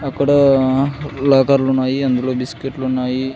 అక్కడ లాకర్లు ఉన్నాయి అందులో బిస్కిట్లు ఉన్నాయి.